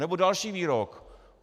Nebo další výrok.